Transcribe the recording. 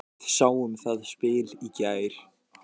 Við sáum það spil í gær.